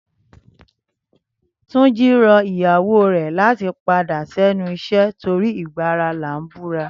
Túnjí rọ ìyàwó rẹ̀ láti padà sẹ́nu iṣẹ́ torí ìgbà ara là ń búra